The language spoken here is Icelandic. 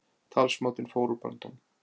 Talsmátinn fór úr böndunum